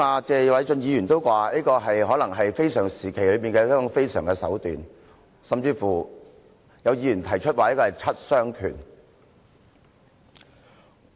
謝偉俊議員剛才也說這可能是非常時期的非常手段，有議員甚至說這是七傷拳。